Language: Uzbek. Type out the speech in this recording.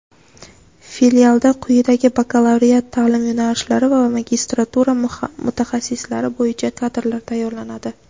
Filialda quyidagi bakalavriat ta’lim yo‘nalishlari va magistratura mutaxassislari bo‘yicha kadrlar tayyorlanadi:.